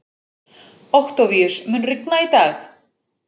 Októvíus, mun rigna í dag?